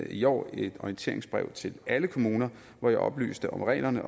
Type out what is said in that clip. i år et orienteringsbrev til alle kommuner hvori jeg oplyste om reglerne